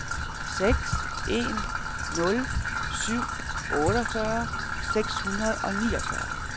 seks en nul syv otteogfyrre seks hundrede og niogfyrre